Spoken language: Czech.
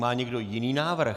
Má někdo jiný návrh?